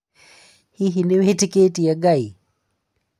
Hihi nĩ wĩtĩkĩtĩe Ngai?